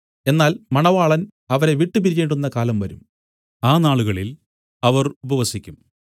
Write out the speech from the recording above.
എന്നാൽ മണവാളൻ അവരെ വിട്ടുപിരിയേണ്ടുന്ന കാലം വരും ആ നാളുകളിൽ അവർ ഉപവസിക്കും